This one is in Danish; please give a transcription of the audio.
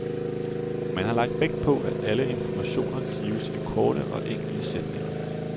Man har lagt vægt på, at alle informationer gives i korte og enkle sætninger.